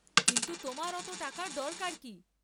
কিন্তু তোমার অত টাকার দরকার কি?